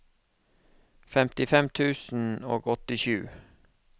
femtifem tusen og åttisju